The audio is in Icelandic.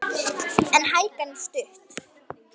En hækan er stutt.